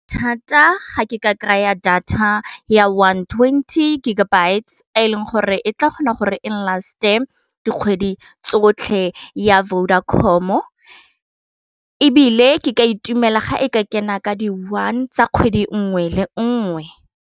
Thata ga ke ka kry-a data ya one twenty gigabyte e leng gore e tla kgona gore eng last-e dikgwedi tsotlhe ya Vodacom-o e bile ke ka itumela ga e ka kena ka di one tsa kgwedi nngwe le nngwe.